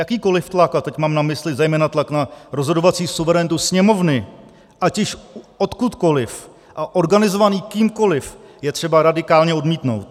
Jakýkoliv tlak, a teď mám na mysli zejména tlak na rozhodovací suverenitu Sněmovny, ať již odkudkoliv a organizovaný kýmkoliv, je třeba radikálně odmítnout.